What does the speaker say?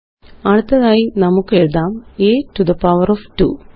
അടുറ്റ്ഘ്തതായി നമുക്കെഴുതാം a to the power of 2